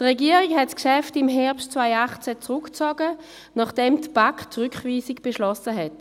Die Regierung zog das Geschäft im Herbst 2018 zurück, nachdem die BaK die Rückweisung beschlossen hatte.